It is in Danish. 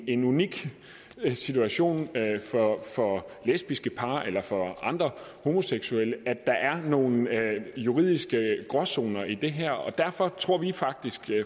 en unik situation for lesbiske par eller for andre homoseksuelle at der er nogle juridiske gråzoner i det her og derfor tror vi faktisk